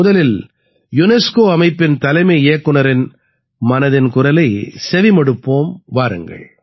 முதலில் யுனெஸ்கோ அமைப்பின் தலைமை இயக்குநரின் மனதின் குரலைச் செவி மடுப்போம் வாருங்கள்